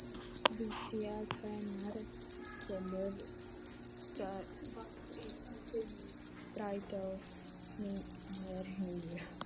Lúsía, hvenær kemur strætó númer níu?